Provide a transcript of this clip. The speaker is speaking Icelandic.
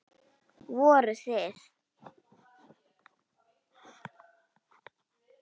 Voruð þið.